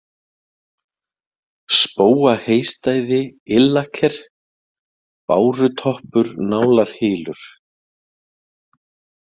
Spóaheystæði, Illaker, Bárutoppur, Nálarhylur